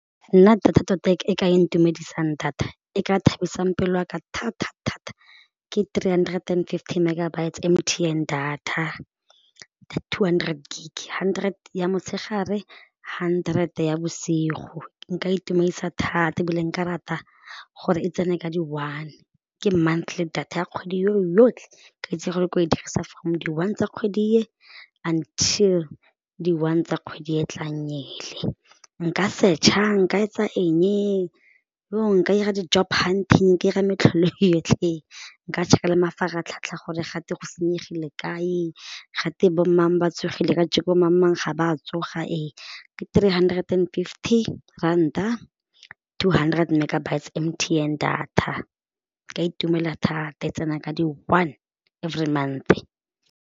Nna data tota e ka ntumedisang data e ka thabisang pelo ya ka thata ke three hundred and fifty megabytes M_T_N data two hundred gig hundred ya motshegare hundred ya bosigo, nka itumedisa thata ebile nka rata gore e tsene ka di one, ke monthly data ya kgwedi yo yotlhe ka itse gore ko e dirisa from di one tsa kgwedi e until di one tsa kgwedi e tlang ele, nka search-a nka etsa eng nka ira ga di job hunting je ira metlholo e yotlhe nka check-a le mafaratlhatlha gore ga twe go senyegile kae ga twe bomang ba tsogile ka jeko bo mang ga ba tsoga ke three hundred and fifty ranta two hundred megabytes M_T_N data ka itumela thata e tsena ka di one every month.